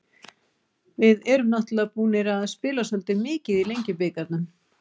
Við erum náttúrulega búnar að spila svolítið mikið í Lengjubikarnum.